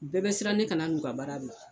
U bɛɛ bɛ siran ne kana n'u ka baara bila.